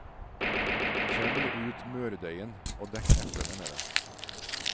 Kjevl ut mørdeigen, og dekk eplene med den.